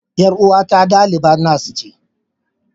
Yar uwata dalibar nas ce.